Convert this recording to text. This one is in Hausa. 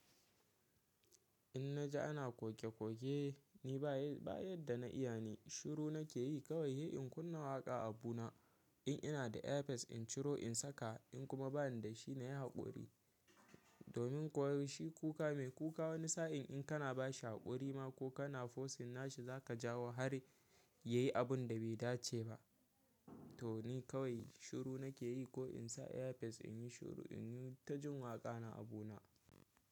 In naje ana koke-koke ni ba ba yadda na iya ne shiru nake yi kawai de. In kunna waƙa abuna in ina da earpiece in ciro in saka in kuma bani da shi na yi haƙuri. Domin kuwa shi kuka mai kuka wani sa'in in kana ba shi haƙuri ma ko kana forcing nashi za ka jawo har ya yi abun da bai dace ba. To ni kawai shiru nake yi ko in sa earpiece in yi shiru, in yi ta jin waƙa na abuna.